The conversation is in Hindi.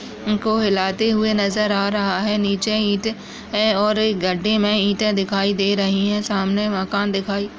इनको हिलाते हुए नजर आ रहा है नीचे ईट है और एक गड्डे मे ईटे दिखाई दे रही है सामने मकान दिखाई--